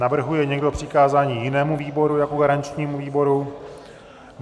Navrhuje někdo přikázání jinému výboru jako garančnímu výboru?